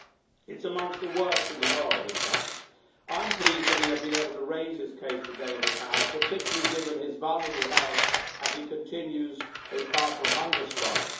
It is amongst the worst in the world in fact. I'm pleased that we have been able to raise his case today in this House, particularly given his vulnerable health as he continues a partial hunger strike.